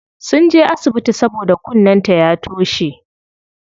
Sunje asibiti saboda kunnen ta ya toshe.